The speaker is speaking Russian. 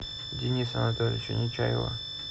дениса анатольевича нечаева